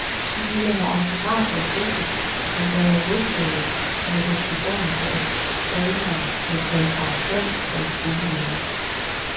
De ville have autografer og fotos, men da jeg nægtede med den begrundelse, at jeg trænede, blev jeg kaldt arrogant af den kvindelige lærer.